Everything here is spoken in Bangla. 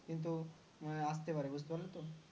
নিয়ে আসতে পারে বুঝতে পারলে তো